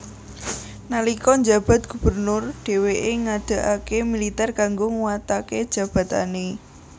Nalika njabat gubernur dhèwèké ngadegaké militèr kanggo nguwataké jabatané